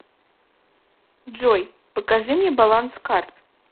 джой покажи мне баланс карт